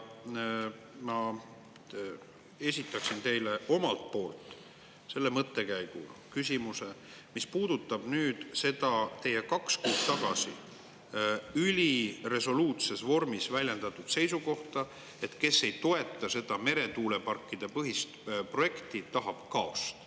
Ma esitan teile omalt poolt mõttekäigu, küsimuse, mis puudutab teie kaks kuud tagasi üliresoluutses vormis väljendatud seisukohta, et kes ei toeta seda meretuuleparkide projekti, tahab kaost.